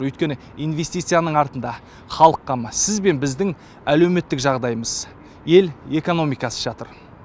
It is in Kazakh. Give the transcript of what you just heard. өйткені инвестицияның артында халық қамы сіз бен біздің әлеуметтік жағдайымыз ел экономикасы жатыр